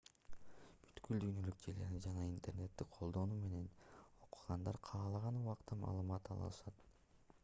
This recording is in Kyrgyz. бүткүл дүйнөлүк желени жана интернетти колдонуу менен окугандар каалаган убакта маалымат ала алышат